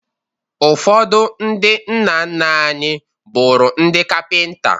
Ụfọdụ ndị nna nna anyị bụrụ ndị Kapịnta